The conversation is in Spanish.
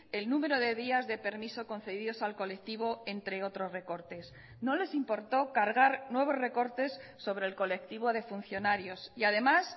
el número de días de permiso concedidos al colectivo entre otros recortes no les importó cargar nuevos recortes sobre el colectivo de funcionarios y además